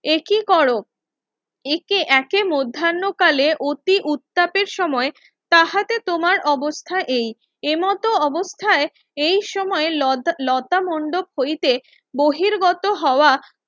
একই করো একে এঁকে মধ্যান কালে অতি উত্তাপের সময় তাহাতে তোমার অবস্থা এই এমত অযথায় এই সময় লতা মণ্ডপ হইতে বহির্গত হওয়া